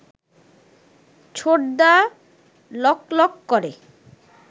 ছোটদা লকলক করে